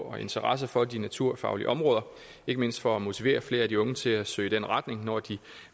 og interesse for de naturfaglige områder ikke mindst for at motivere flere af de unge til at søge i den retning når de